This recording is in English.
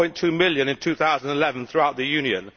1.2 million in 2011 throughout the Union.